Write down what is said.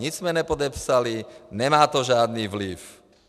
Nic jsme nepodepsali, nemá to žádný vliv.